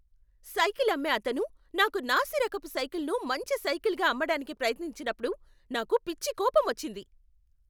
Cycle అమ్మే అతను నాకు నాసి రకపు సైకిల్ను మంచి సైకిల్గా అమ్మడానికి ప్రయత్నించినప్పుడు నాకు పిచ్చి కోపం వచ్చింది.